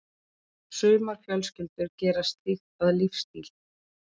Sumar fjölskyldur gera slíkt að lífsstíl.